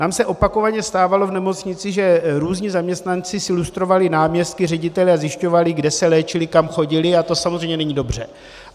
Nám se opakovaně stávalo v nemocnici, že různí zaměstnanci si lustrovali náměstky, ředitele a zjišťovali, kde se léčili, kam chodili, a to samozřejmě není dobře.